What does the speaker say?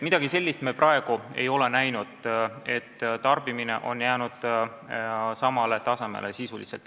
Midagi sellist me praegu ei ole näinud, tarbimine on jäänud sisuliselt samale tasemele.